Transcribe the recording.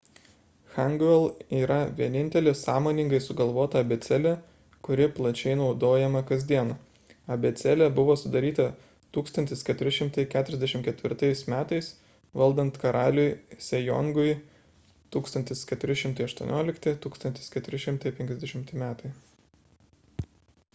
hangeul yra vienintelė sąmoningai sugalvota abėcėlė kuri plačiai naudojama kasdien. abėcėlė buvo sudaryta 1444 m. valdant karaliui sejongui 1418–1450 m.